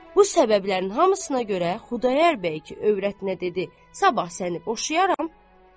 Bu səbəblərin hamısına görə Xudayar bəy övrətinə dedi: Sabah səni boşayaram.